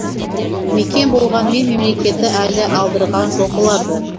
мекен болғанмен мемлекеті әлі алдырған жоқ оларды